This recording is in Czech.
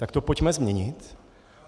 Tak to pojďme změnit.